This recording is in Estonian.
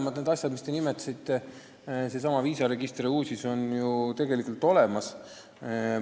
Mõlemad asjad, mis te nimetasite – seesama viisaregister ja UUSIS – on ju olemas.